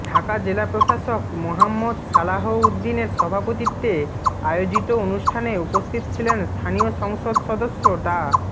ঢাকা জেলা প্রশাসক মোহাম্মদ সালাহ উদ্দিনের সভাপতিত্বে আয়োজিত অনুষ্ঠানে উপস্থিত ছিলেন স্থানীয় সংসদ সদস্য ডা